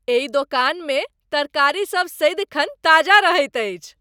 एहि दोकानमे तरकारीसभ सदिखन ताजा रहैत अछि।